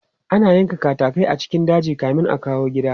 Ana yankan katatai a cikin daji kamin a kawo gida.